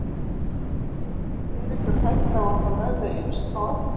Er einhver hætta á að það verði eins á eftir?